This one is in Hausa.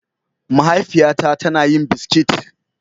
Mahaifiya na ta na yin biskit.